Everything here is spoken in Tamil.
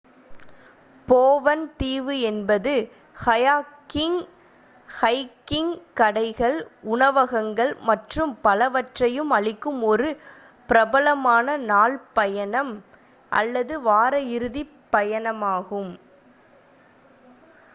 போவன் தீவு என்பது கயாக்கிங் ஹைகிங் கடைகள் உணவகங்கள் மற்றும் பலவற்றையும் அளிக்கும் ஒரு பிரபலமான நாள் பயணம் அல்லது வார இறுதி பயணமாகும்